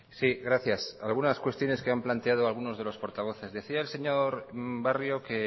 sí gracias algunas cuestiones que han planteado algunos de los portavoces decía el señor barrio que